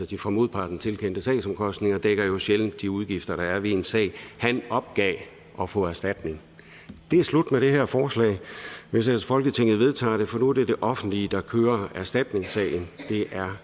de for modparten tilkendte sagsomkostninger dækker jo sjældent de udgifter der er ved en sag han opgav at få erstatning det er slut med det her forslag hvis ellers folketinget vedtager det for nu er det det offentlige der kører erstatningssagen det er